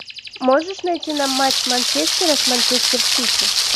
можешь найти нам матч манчестера с манчестер сити